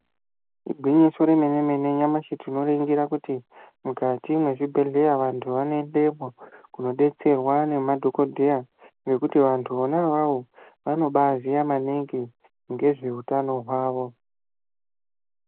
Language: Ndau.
Igwinyiso remene mene nyamushi tinoringira kuti mukati mwezvibhedhlera vantu vanoendemwo kundodetserwa nemadhokodheya ngekuti vantu vona avavo vanobaaziya maningi ngezveutano hwavo.